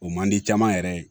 O man di caman yɛrɛ ye